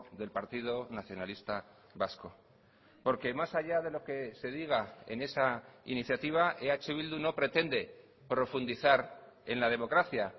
del partido nacionalista vasco porque más allá de lo que se diga en esa iniciativa eh bildu no pretende profundizar en la democracia